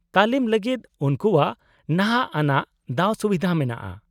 -ᱛᱟᱞᱤᱢ ᱞᱟᱹᱜᱤᱫ ᱩᱱᱠᱩᱣᱟᱜ ᱱᱟᱦᱟᱜ ᱟᱱᱟᱜ ᱫᱟᱣᱼᱥᱩᱵᱤᱫᱷᱟ ᱢᱮᱱᱟᱜᱼᱟ ᱾